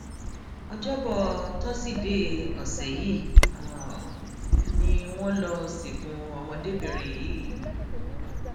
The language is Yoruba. ọjọbọ tọsídẹẹ ọsẹ yìí ni wọn lọọ sìnkú ọmọdébìnrin yìí